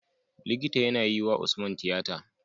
Likita yAna yi wa usman tiyata